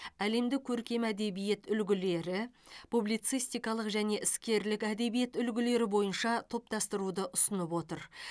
әлемдік көркем әдебиет үлгілері публицистикалық және іскерлік әдебиет үлгілері бойынша топтастыруды ұсынып отыр